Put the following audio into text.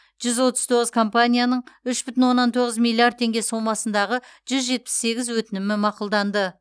жүз отыз тоғыз компанияның үш бүтін оннан тоғыз миллиард теңге сомасындағы жүз жетпіс сегіз өтінімі мақұлданды